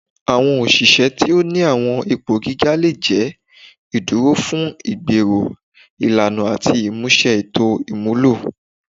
Awọn oṣiṣẹ ti o ni awọn ipo giga le jẹ iduro fun igbero ilana ati imuse eto imulo